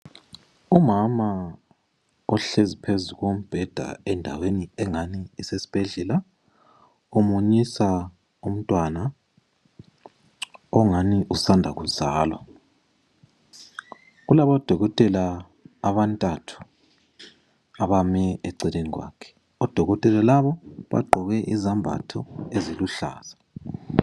Umama uhlezi phezu kombheda endaweni engani kusesibhedlela umunyisa umntwana ongani usanda kuzalwa, kulabo dokotela abantathu abami eceleni kwakhe, odokotela laba bagqoke izembatho eziluhlaza.